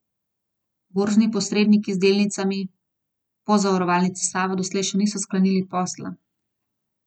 Borzni posredniki z delnicami Pozavarovalnice Sava doslej še niso sklenili posla.